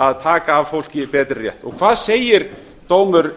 að taka af fólki betri rétt og hvað segir dómur